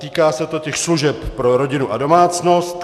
Týká se to služeb pro rodinu a domácnost.